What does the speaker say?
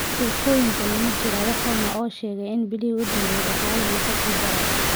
Sheegashooyinkani ma jiraan wax run ah oo sheegaya in bilihii ugu dambeeyay dhaqaaluhu uu ka sii daray?